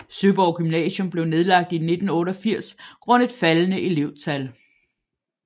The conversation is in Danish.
Søborg Gymnasium blev nedlagt i 1988 grundet faldende elevtal